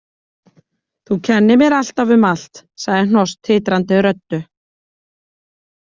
Þú kennir mér alltaf um allt, sagði Hnoss titrandi röddu.